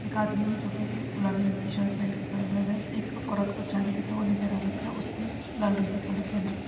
एक आदमी जो की गुलाबी रंग की शर्ट पहनके खड़ा हुआ है एक औरत को चाबी देता हुआ नजर आ रखा है उसने लाल रंग साडी पहन रखी--